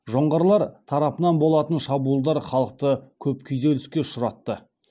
жоңғарлар тарапынан болатын шабуылдар халықты көп күйзеліске ұшыратты